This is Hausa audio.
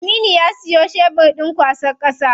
Aminu ya siyo shebur ɗin kwasan ƙasa.